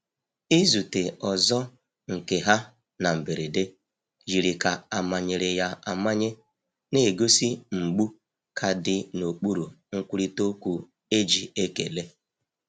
Izute ọzọ nke ha na mberede yiri ka amanyere ya amanye, na-egosi mgbu ka dị n’okpuru nkwurịta okwu e ji ekele.